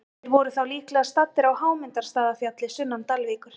Þeir voru þá líklega staddir á Hámundarstaðafjalli sunnan Dalvíkur.